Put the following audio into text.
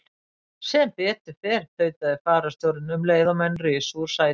Sem betur fer, tautaði fararstjórinn um leið og menn risu úr sætum.